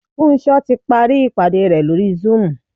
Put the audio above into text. Funsho ti parí ìpàdé re lórí zoom.